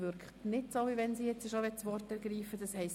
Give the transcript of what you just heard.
– Dies scheint nicht der Fall zu sein.